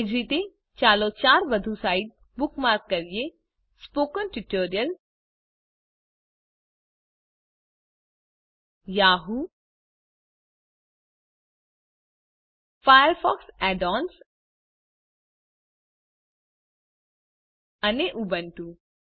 એ જ રીતે ચાલો ચાર વધુ સાઇટ્સ બુકમાર્ક કરીએ સ્પોકન ટ્યુટોરિયલ yahooફાયરફોક્સ add ઓએનએસ અને ઉબુન્ટુ